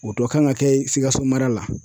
O dɔ kan ka kɛ sikaso mara la.